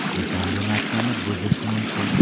Bu kombinatsiyani buzishi mumkin.